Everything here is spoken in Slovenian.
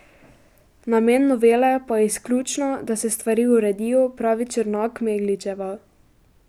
Namen novele pa je izključno, da se stvari uredijo, pravi Črnak Megličeva.